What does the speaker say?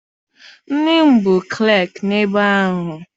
Nne m bụ klaakị ebe ahụ.